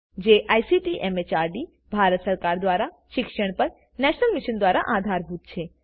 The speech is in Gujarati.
જે આઇસીટી એમએચઆરડી ભારત સરકાર દ્વારા શિક્ષણ પર નેશનલ મિશન દ્વારા આધારભૂત છે